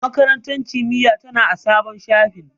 A'a, Makarantar Kimiyya tana a sabon shafin.